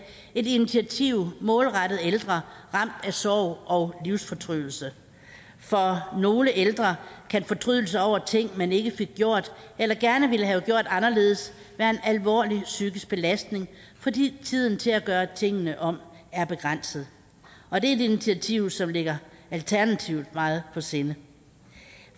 et initiativ målrettet ældre ramt af sorg og livsfortrydelse for nogle ældre kan fortrydelse over ting man ikke fik gjort eller gerne ville have gjort anderledes være en alvorlig psykisk belastning fordi tiden til at gøre tingene om er begrænset og det er et initiativ som ligger alternativet meget på sinde